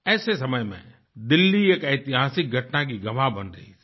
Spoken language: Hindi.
ऐसे समय में दिल्ली एक ऐतिहासिक घटना की गवाह बन रही थी